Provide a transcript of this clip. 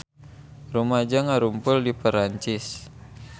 Rumaja ngarumpul di Perancis